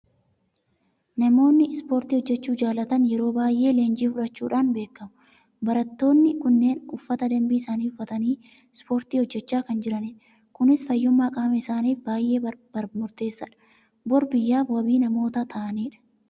Namoonni ispoortii hojjechuu jaalatan yeroo baay'ee leenjii fudhachuudhaan beekamu. Barattoonni kunneen uffata dambii isaanii uffatanii ispoortii hojjechaa kan jiranidha. Kunis fayyummaa qaama isaaniif baay'ee murteessaadha. Bor biyyaaf wabii namoota ta'anidha.